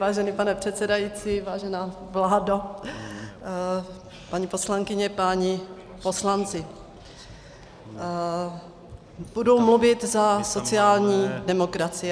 Vážený pane předsedající, vážená vládo, paní poslankyně, páni poslanci, budu mluvit za sociální demokracii.